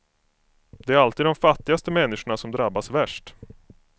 Det är alltid de fattigaste människorna som drabbas värst.